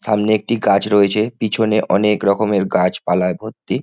সামনে একটি গাছ রয়েছে পিছনে অনেক রকমের গাছপলায় ভর্তি।